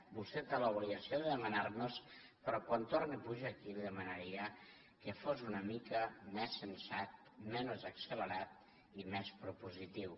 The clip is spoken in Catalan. vostè té l’obligació de demanar me les però quan torni a pujar aquí li demanaria que fos una mica més sensat menys accelerat i més propositiu